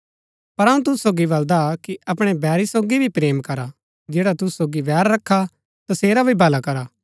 पर अऊँ तुसु सोगी बलदा कि अपणै बैरी सोगी भी प्रेम करा जैडा तुसु सोगी बैर रखा तसेरा भी भला करा